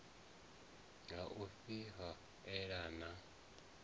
ha u ifha ela na